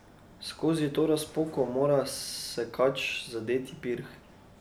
Skozi to razpoko mora sekač zadeti pirh.